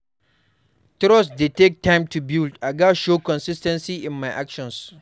Trust dey take time to build; I gats show consis ten cy in my actions.